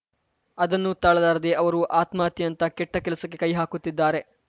ಅದನ್ನು ತಾಳಲಾರದೆ ಅವರು ಆತ್ಮಹತ್ಯೆಯಂತಹ ಕೆಟ್ಟಕೆಲಸಕ್ಕೆ ಕೈಹಾಕುತ್ತಿದ್ದಾರೆ